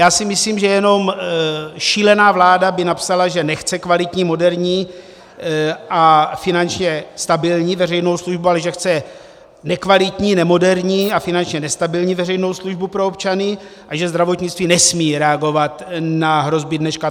Já si myslím, že jenom šílená vláda by napsala, že nechce kvalitní, moderní a finančně stabilní veřejnou službu, ale že chce nekvalitní, nemoderní a finančně nestabilní veřejnou službu pro občany a že zdravotnictví nesmí reagovat na hrozby dneška.